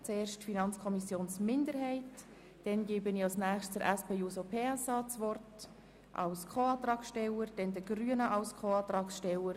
Zuerst kommt die Minderheit der FiKo zu Wort, anschliessend erhält die SP-JUSO-PSA-Fraktion das Wort als Co-Antragstellerin, dann die Grünen als Co-Antragssteller.